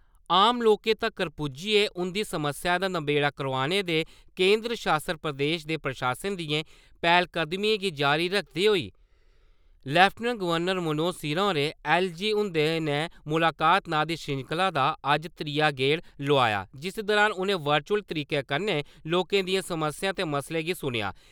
आम लोकें तक्कर पुज्जियै उं'दियें समस्याएं दा नबेड़ा करोआने दे केंदर शासत प्रदेश दे प्रशासन दियें पैह्लकदमिएं गी जारी रक्खदे होई लेफ्टिनेंट गवर्नर मनोज सिन्हा होरें ऐल्ल.जी. हुंदे ने मुलाकात नांऽ दी श्रृंखला दा अज्ज त्रीया गेड़ लोआया जिस दुरान उ'नें वर्चुअल तरीके कन्नै लोकें दियें समस्याएं ते मसलें गी सुनेआ।